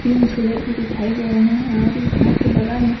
तीन झूले भी दिखाई दे रहे है और इस घर के बगल में --